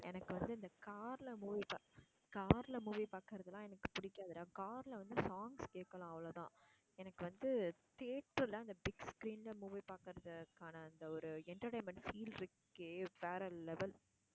எனக்கு வந்து இந்த car ல movie பாக்~ car ல movie பாக்குறதெல்லாம் எனக்கு புடிக்காதுடா car ல வந்து songs கேக்கலாம் அவ்ளோதா எனக்கு வந்து தியேட்டரல அந்த big screen ல movie பாக்குறது அதுக்கான அந்த ஒரு entertainment feel இருக்கே வேற level